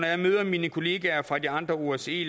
jeg møder mine kollegaer fra de andre osce